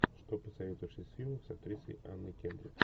что посоветуешь из фильмов с актрисой анной кендрик